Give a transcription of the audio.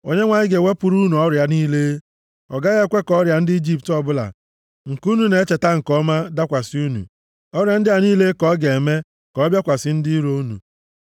Onyenwe anyị ga-ewepụrụ unu ọrịa niile. Ọ gaghị ekwe ka ọrịa ndị Ijipt ọbụla, nke unu na-echeta nke ọma dakwasị unu, ọrịa ndị a niile ka ọ ga-eme ka ọ bịakwasị ndị iro unu!